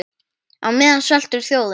Á meðan sveltur þjóðin.